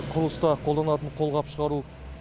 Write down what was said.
құрылыста қолданатын қолғап шығару